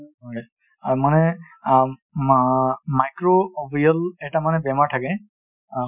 অ, মানে আ মাই~ microbial এটা মানে বেমাৰ থাকে